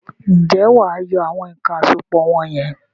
Ǹjẹ́wà á yọ àwọn èèkàn àsopọ̀ wọ̀n yẹn?